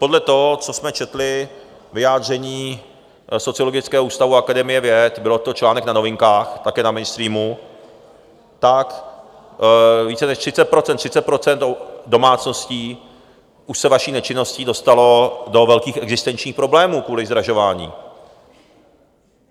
Podle toho, co jsme četli vyjádření Sociologického ústavu Akademie věd, byl to článek na Novinkách, také na mainstreamu, tak více než 30 % domácností už se vaší nečinností dostalo do velkých existenčních problémů kvůli zdražování.